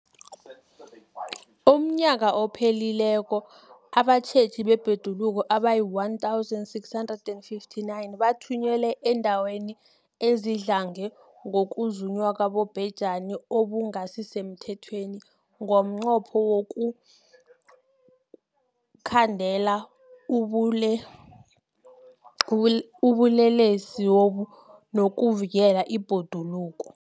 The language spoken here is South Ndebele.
UmNnyaka ophelileko abatjheji bebhoduluko abayi-1 659 bathunyelwa eendaweni ezidlange ngokuzunywa kwabobhejani okungasi semthethweni ngomnqopho wokuyokukhandela ubulelesobu nokuvikela ibhoduluko.